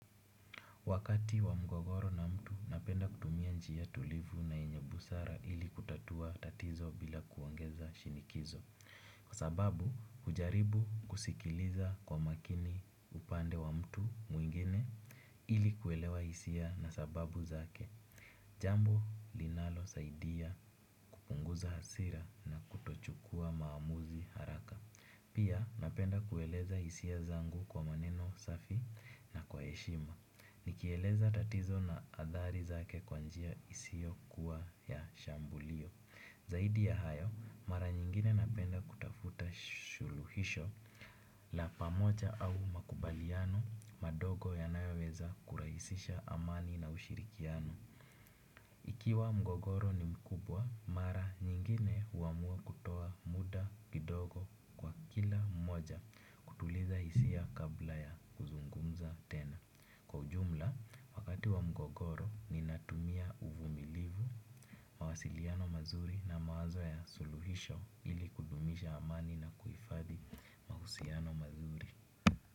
Wakati wa mgogoro na mtu napenda kutumia njia tulivu na yenye busara ili kutatua tatizo bila kuongeza shinikizo. Kwa sababu hujaribu kusikiliza kwa makini upande wa mtu mwingine ili kuelewa hisia na sababu zake. Jambo linalosaidia kupunguza hasira na kutochukua maamuzi haraka. Pia napenda kueleza hisia zangu kwa maneno safi na kwa heshima. Nikieleza tatizo na athari zake kwa njia isiyokuwa ya shambulio. Zaidi ya hayo, mara nyingine napenda kutafuta suluhisho la pamoja au makubaliano madogo yanayoweza kurahisisha amani na ushirikiano. Ikiwa mgogoro ni mkubwa, mara nyingine huamua kutoa muda kidogo kwa kila mmoja. Kutuliza hisia kabla ya kuzungumza tena kwa ujumla, wakati wa mgogoro ninatumia uvumilivu, mawasiliano mazuri na mawazo ya suluhisho ili kudumisha amani na kuhifadhi mahusiano mazuri.